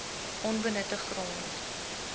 onbenutte grond